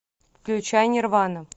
включай нирвану